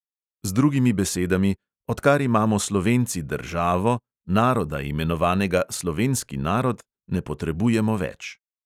Z drugimi besedami, odkar imamo slovenci državo, naroda, imenovanega slovenski narod, ne potrebujemo več.